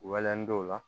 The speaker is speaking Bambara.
Wal n' dɔw la